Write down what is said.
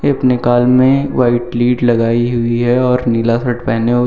अपने कान में व्हाइट लीड लगाई हुई है और नीला शर्ट पहने हुए--